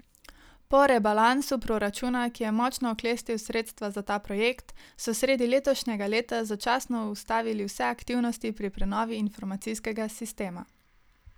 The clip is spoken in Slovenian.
Po rebalansu proračuna, ki je močno oklestil sredstva za ta projekt, so sredi letošnjega leta začasno ustavili vse aktivnosti pri prenovi informacijskega sistema.